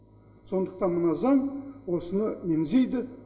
сондықтан мына заң осыны меңзейді